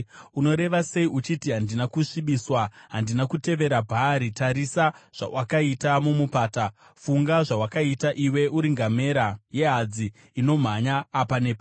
“Unoreva sei, uchiti, ‘Handina kusvibiswa; handina kutevera Bhaari’? Tarisa zvawakaita mumupata; funga zvawakaita. Iwe uri ngamera yehadzi inomhanya apa nepapo,